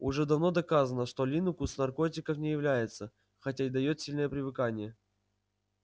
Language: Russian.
уже давно доказано что линукс наркотиком не является хотя и даёт сильное привыкание